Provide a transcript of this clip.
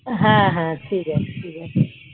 হ্যাঁ হ্যাঁ ঠিক আছে ঠিক আছে